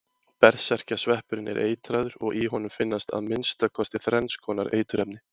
Berserkjasveppurinn er eitraður og í honum finnast að minnsta kosti þrenns konar eiturefni.